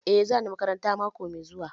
Eh za ni makaranta mako mai zuwa